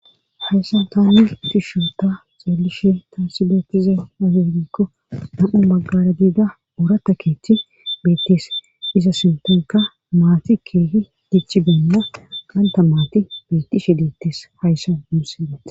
Hayssan taani tishshunta xeellishe taasi beettize nafinikko nam'u maggara diida orata keechchi beettis iza sintonka maati keehi dichi beenna qanta maati beeti shi dittis hayssa muussidete.